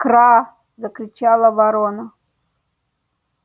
кра закричала ворона